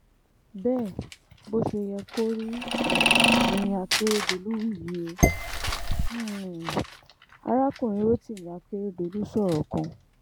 bẹ́ẹ̀ bó ṣe yẹ kó rí um ni akeredolu wí yìí ó um arákùnrin rotimi akeredolu sọ̀rọ̀ kan